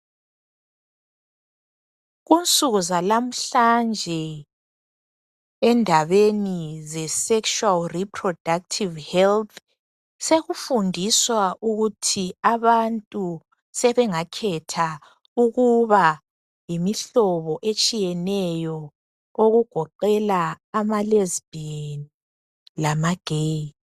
Kunsukuzalmhlanje endabeni ze sexual reproductive health, sekufundiswa ukuthi abantu sebengakhetha ukuthi sebengama yimihlobo etshiyeneyo okugoqela amalezibhiyeni lamageyi.